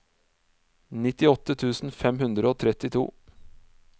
nittiåtte tusen fem hundre og trettito